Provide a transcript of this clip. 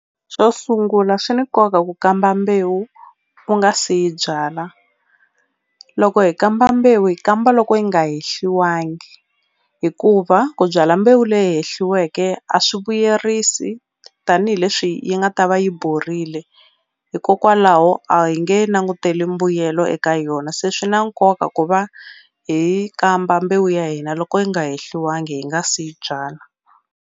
Xo sungula swi ni nkoka ku kamba mbewu u nga se yi byala loko hi kamba mbewu hi kamba loko yi nga hehliwangi hikuva ku byala mbewu leyi hehliweke a swi vuyerisi tanihileswi yi nga ta va yi borile hikokwalaho a hi nge nanguteli mbuyelo eka yona se swi na nkoka ku va hi yi kamba mbewu ya hina loko yi nga hehliwangi hi nga si yi byala.